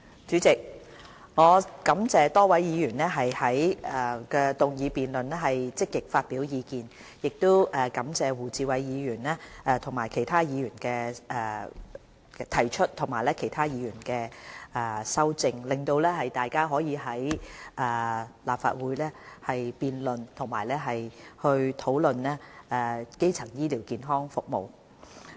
主席，我感謝多位議員在議案辯論環節積極發表意見，亦感謝胡志偉議員動議原議案和其他議員提出修正案，讓大家可以在立法會辯論和討論基層醫療健康服務。